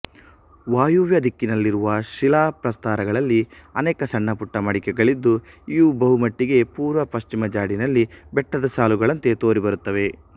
ವಾಯುವ್ಯ ದಿಕ್ಕಿನಲ್ಲಿರುವ ಶಿಲಾ ಪ್ರಸ್ಥರಗಳಲ್ಲಿ ಅನೇಕ ಸಣ್ಣಪುಟ್ಟ ಮಡಿಕೆಗಳಿದ್ದು ಇವು ಬಹುಮಟ್ಟಿಗೆ ಪೂರ್ವಪಶ್ಚಿಮ ಜಾಡಿನಲ್ಲಿ ಬೆಟ್ಟದ ಸಾಲುಗಳಂತೆ ತೋರಿಬರುತ್ತವೆ